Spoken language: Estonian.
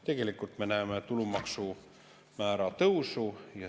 Tegelikult me näeme tulumaksumäära tõusu.